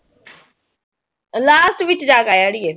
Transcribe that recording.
Last ਵਿੱਚ ਜਾ ਕੇ ਆੜੀਏ।